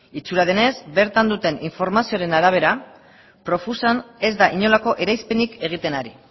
itxura denez bertan duten informazioaren arabera profusan ez da inolako eraispenik egiten ari